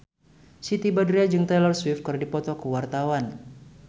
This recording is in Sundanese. Siti Badriah jeung Taylor Swift keur dipoto ku wartawan